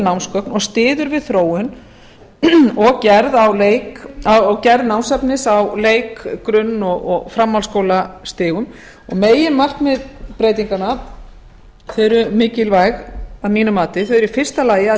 námsgögn og styður við þróun og gerð námsefnis á leik grunn og framhaldsskólastigum meginmarkmið breytinganna eru mikilvæg að mínu mati þau eru í fyrsta lagi að